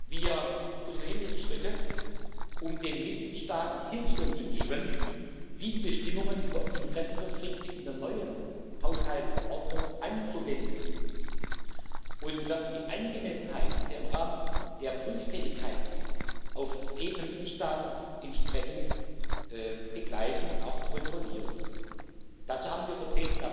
Wir unternehmen jetzt Schritte, um den Mitgliedstaaten Hilfestellung zu geben, wie die Bestimmungen über Interessenkonflikte in der neuen Haushaltsordnung anzuwenden sind, und wir werden die Angemessenheit im Rahmen der Prüftätigkeiten auf Ebene der Mitgliedstaaten entsprechend begleiten und auch kontrollieren. Dazu haben wir für den